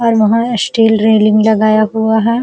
और वहाँ steel railing लगाया हुआ है।